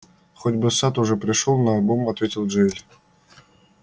хоть бы сатт уже пришёл наобум ответил джаэль